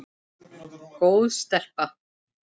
Góð stelpa.